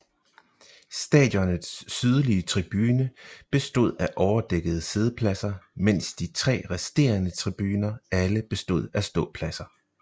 Stadionets sydlige tribune bestod af overdækkede siddepladser mens de tre resterende tribuner alle bestod af ståpladser